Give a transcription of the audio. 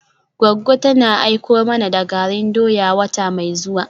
Goggo tana aiko mana da garin doya wata mai zuwa.